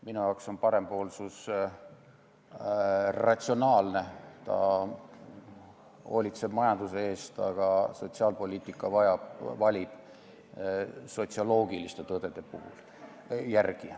Minu jaoks on parempoolsus ratsionaalne, ta hoolitseb majanduse eest, aga sotsiaalpoliitika valib sotsioloogiliste tõdede järgi.